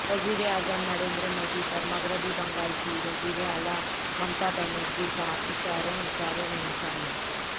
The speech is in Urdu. وزیراعظم نریندر مودی پر مغربی بنگال کی وزیراعلی ممتا بنرجی کا اشاروں اشاروں میں نشانہ